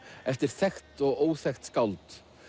eftir þekkt og óþekkt skáld